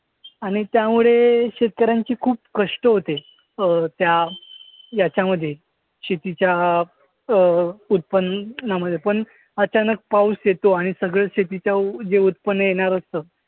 आणि त्यामुळे शेतकर्‍यांची खूप कष्ट होते. अं त्या याच्यामध्ये शेतीच्या अं उत्पन्नामद्धे पण अचानक पाऊस येतो आणि सगळं शेतीच्या जे उत्पन्न येणार असतं.